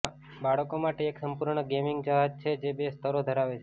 બાળકો માટે એક સંપૂર્ણ ગેમિંગ જહાજ છે જે બે સ્તરો ધરાવે છે